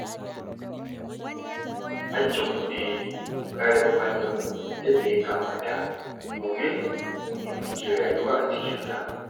Hakkinmu ne mu kare muhallinmu yadda ya kamata, domin mu ne muke rayuwa a cikinsa.